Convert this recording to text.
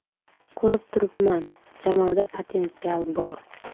Ko‘rib turibman jamoada potensial bor.